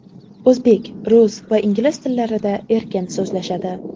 O‘zbek, rus va ingliz tillarida erkin so‘zlashadi.